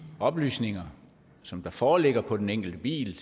oplysninger som der foreligger på den enkelte bil